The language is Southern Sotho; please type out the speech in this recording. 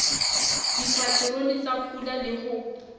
dipaterone tsa pula le ho